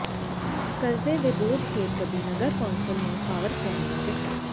ਕਰਜ਼ੇ ਦੇ ਬੋਝ ਹੇਠ ਦਬੀ ਨਗਰ ਕੌਂਸਲ ਨੂੰ ਪਾਵਰਕੌਮ ਦਾ ਝਟਕਾ